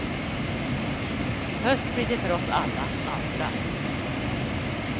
Höst blir det för oss alla andra.